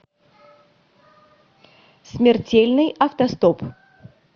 смертельный автостоп